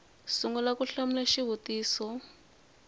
sungula ku hlamula xivutiso xin